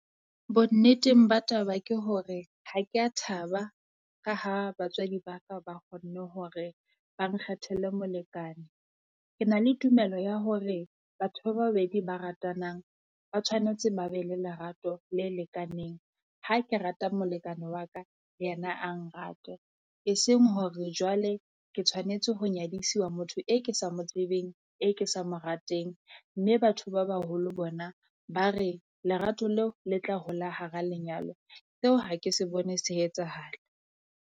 Bonneteng ba taba ke hore ha kea thaba, ka ha batswadi ba ka ba kgonne hore ba nkgethele molekane. Ke na le tumelo ya hore batho ba babedi ba ratanang ba tshwanetse ba be le lerato le lekaneng. Ha ke rata molekane wa ka le yena a nrate, eseng hore jwale ke tshwanetse ho nyadisiwa motho e ke sa mo tsebeng, e ke sa mo rateng. Mme batho ba baholo bona ba re lerato leo le tla hola hara lenyalo seo ha ke se bone se etsahala.